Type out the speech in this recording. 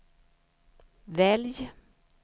välj